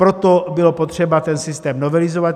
Proto bylo potřeba ten systém novelizovat.